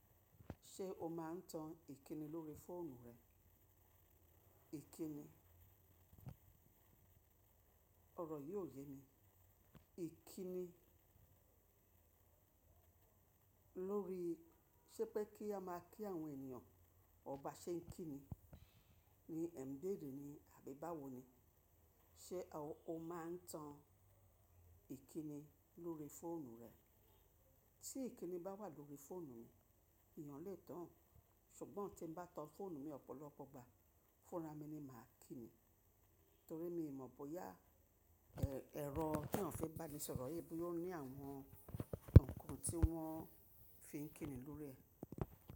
Ṣé o máa ń tan ìkíni lórí fóònù rẹ? Ìkíni, ọ̀rọ̀ yii o yé mi. Ìkíni lórí, sépẹ́ kí a máa kí àwọn ènìyàn, ọr ba ṣe ń kí ni, ní ẹ̀ n beere ni àbí báwo ni. Ṣé o máa ń tan ìkíni lórí fóònù rẹ? Tí ìkíni bá wà lórí fóònù mi, èèyàn lè tán-án, ṣùgbọ́n tí mo bá tan fóònù mi ọ̀pọ̀lọpọ̀ gba, fúnra mi ni màá kíni. Torí mi mọ̀ bóyá ẹ̀rọ tí wọ́n fi ń bá ni sọ̀rọ̀ yé, bóyá ó ní àwọn ǹkan tí wọ́n fi ń kíni lórí rẹ̀.